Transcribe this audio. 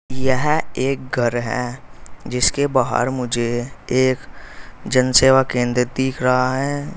यह एक घर है जिसके बाहर मुझे एक जन सेवा केंद्र दिख रहा है।